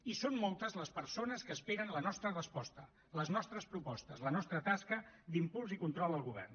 i són moltes les persones que esperen la nostra resposta les nostres propostes la nostra tasca d’impuls i control al govern